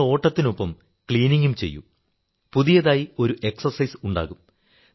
നിങ്ങൾ ഓട്ടത്തിനൊപ്പം ക്ലീനിംഗും ചെയ്യൂ പുതിയതായി ഒരു എക്സർസൈസ് ഉണ്ടാവും